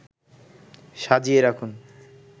সাজিয়ে রাখুন